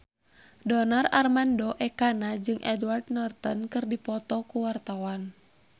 Donar Armando Ekana jeung Edward Norton keur dipoto ku wartawan